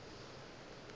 a napa a thoma go